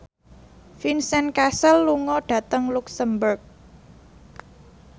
Vincent Cassel lunga dhateng luxemburg